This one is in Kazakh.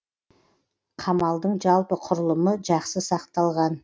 қамалдың жалпы құрылымы жақсы сақталған